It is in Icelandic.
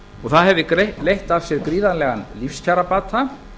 og það hefði leitt af sér gríðarlegan lífskjarabata